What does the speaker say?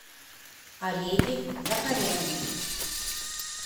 олеге закаряне